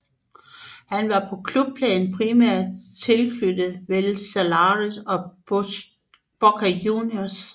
Han var på klubplan primært tilknyttet Vélez Sársfield og Boca Juniors